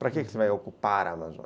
Para que você vai ocupar a Amazônia?